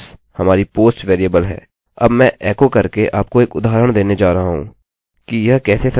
अब मैं एकोecho करके आपको एक उदाहरण देने जा रहा हूँ कि यह कैसे संसाधित होता है